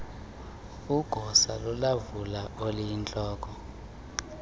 igosa lolawulo eliyintloko